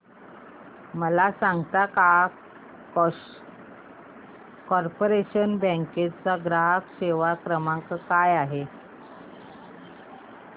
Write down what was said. मला सांगता का कॉर्पोरेशन बँक चा ग्राहक सेवा क्रमांक काय आहे